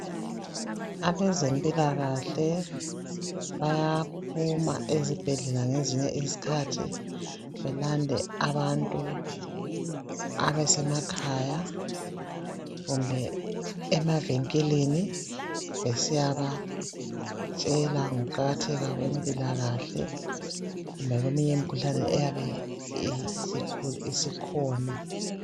Abezempilakahle bayaphuma ezibhedlela ngezinye izikhathi belande abantu abasemakhaya kumbe emavinkilini besiyabatshela ngokuqakatheka kwempilakahle lakweminye imikhuhlane eyabe isikhona.